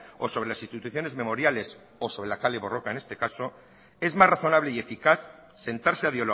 o sobre las instituciones memoriales o sobre la kale borroka en este caso es más razonable y eficaz sentarse a